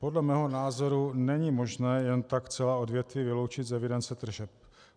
Podle mého názoru není možné jen tak celá odvětví vyloučit z evidence tržeb.